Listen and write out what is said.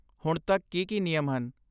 ਹੁਣ ਤੱਕ ਕੀ ਕੀ ਨਿਯਮ ਹਨ?